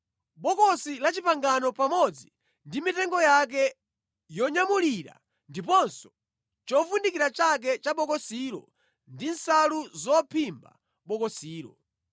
Bokosi la Chipangano pamodzi ndi mitengo yake yonyamulira ndiponso chovundikira chake cha bokosilo ndi nsalu zophimba bokosilo;